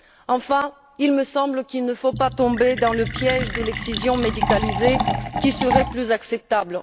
Enfin, il me semble qu'il ne faut pas tomber dans le piège de l'excision médicalisée, qui serait plus acceptable.